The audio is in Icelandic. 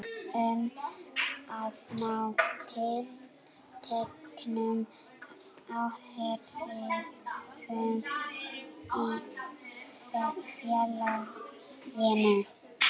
um að ná tilteknum áhrifum í félaginu.